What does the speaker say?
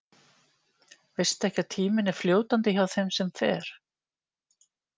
Veistu ekki að tíminn er fljótandi hjá þeim sem fer.